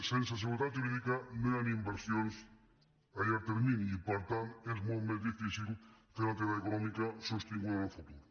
sense seguretat jurídica no hi han inversions a llarg termini i per tant és molt més difícil fer una activitat econòmica sostinguda en el futur